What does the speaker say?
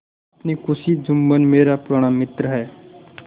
अपनी खुशी जुम्मन मेरा पुराना मित्र है